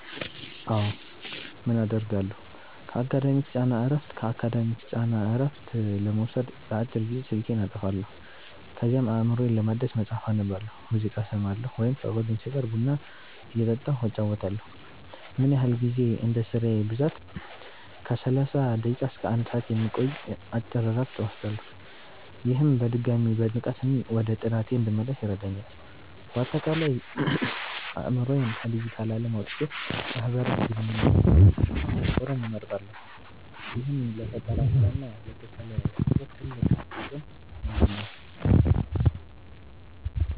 አዎ, ምን አደርጋለሁ? ከአካዳሚክ ጫና እረፍት ለመውሰድ ለአጭር ጊዜ ስልኬን አጠፋለሁ። ከዚያም አእምሮዬን ለማደስ መጽሐፍ አነባለሁ፣ ሙዚቃ እሰማለሁ ወይም ከጓደኞቼ ጋር ቡና እየጠጣሁ እጨዋወታለሁ። ምን ያህል ጊዜ? እንደ ስራዬ ብዛት ከ30 ደቂቃ እስከ 1 ሰዓት የሚቆይ አጭር እረፍት እወስዳለሁ። ይህም በድጋሚ በንቃት ወደ ጥናቴ እንድመለስ ይረዳኛል። ባጠቃላይ፦ አእምሮዬን ከዲጂታል ዓለም አውጥቼ ማህበራዊ ግንኙነት ላይ ማተኮርን እመርጣለሁ፤ ይህም ለፈጠራ ስራ እና ለተሻለ ትኩረት ትልቅ አቅም ይሆነኛል።